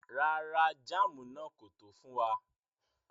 Rárá, jàmù náà kò tó fún wà.